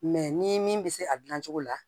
Mɛ ni min bɛ se a dilancogo la